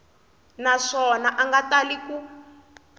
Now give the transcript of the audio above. naswona a nga tali ku